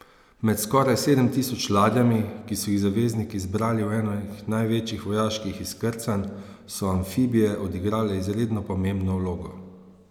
Med skoraj sedem tisoč ladjami, ki so jih zavezniki zbrali v enem največjih vojaških izkrcavanj, so amfibije odigrale izredno pomembno vlogo.